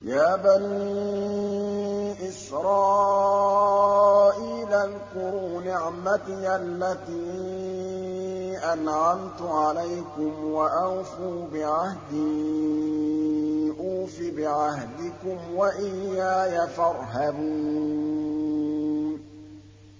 يَا بَنِي إِسْرَائِيلَ اذْكُرُوا نِعْمَتِيَ الَّتِي أَنْعَمْتُ عَلَيْكُمْ وَأَوْفُوا بِعَهْدِي أُوفِ بِعَهْدِكُمْ وَإِيَّايَ فَارْهَبُونِ